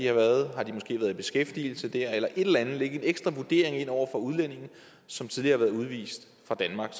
har været i beskæftigelse der eller et eller andet og lægge en ekstra vurdering ind over for udlændinge som tidligere er blevet udvist fra danmark